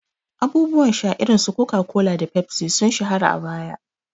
Abubuwan sha irin su Coca-Cola da Pepsi sun shahara a baya.